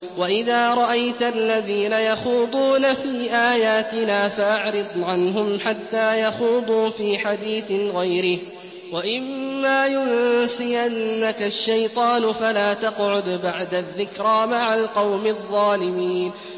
وَإِذَا رَأَيْتَ الَّذِينَ يَخُوضُونَ فِي آيَاتِنَا فَأَعْرِضْ عَنْهُمْ حَتَّىٰ يَخُوضُوا فِي حَدِيثٍ غَيْرِهِ ۚ وَإِمَّا يُنسِيَنَّكَ الشَّيْطَانُ فَلَا تَقْعُدْ بَعْدَ الذِّكْرَىٰ مَعَ الْقَوْمِ الظَّالِمِينَ